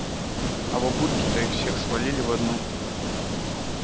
а бабульки их все свалили в одну